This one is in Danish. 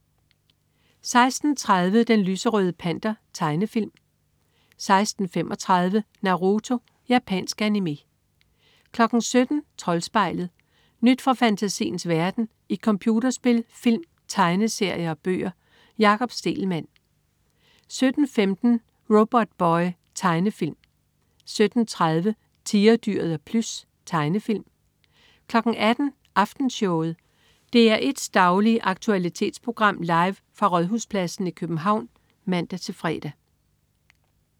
16.30 Den lyserøde Panter. Tegnefilm 16.35 Naruto. Japansk animé 17.00 Troldspejlet. Nyt fra fantasiens verden i computerspil, film, tegneserier og bøger. Jakob Stegelmann 17.15 Robotboy. Tegnefilm 17.30 Tigerdyret og Plys. Tegnefilm 18.00 Aftenshowet. DR1s daglige aktualitetsprogram, live fra Rådhuspladsen i København (man-fre)